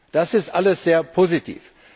Das ist alles sehr positiv.